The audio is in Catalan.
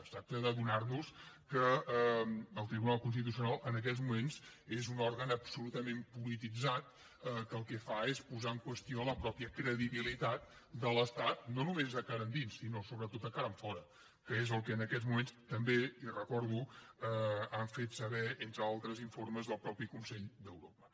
es tracta d’adonar nos que el tribunal constitucional en aquests moments és un òrgan absolutament polititzat que el que fa és posar en qüestió la mateixa credibilitat de l’estat no només de cara endins sinó sobretot de cara enfora que és el que en aquests moments també li ho recordo han fet saber entre altres informes del mateix consell d’europa